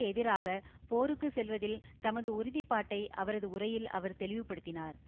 எதிராக போருக்கு செல்வதில் தமது உறுதி பாட்டை அவரது உரையில் அவர் தெளிவுப்படுத்தினார்